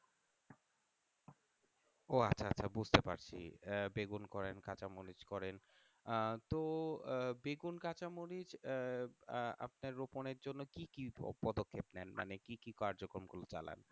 ও আচ্ছা আচ্ছা বুঝতে পারছি আহ বেগুন করেন কাঁচামরিচ করেন আহ তো আহ বেগুন কাঁচামরিচ আহ আহ আপনার রোপণের জন্য কি কি পদক্ষেপ নেন মানে কি কি কার্যক্রম গুলো চালান?